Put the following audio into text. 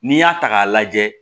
N'i y'a ta k'a lajɛ